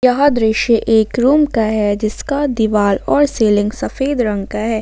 यह दृश्य एक रूम का है जिसका दीवार और सीलिंग सफेद रंग का है।